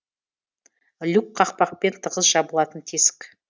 люк қақпақпен тығыз жабылатын тесік